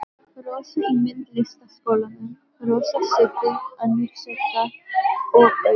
Rósu í Myndlistaskólanum, Rósa, Sigga, önnur Sigga og Auður.